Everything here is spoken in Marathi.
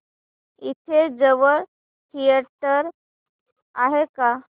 इथे जवळ थिएटर आहे का